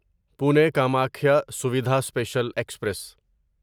Pune Kamakhya Suvidha special express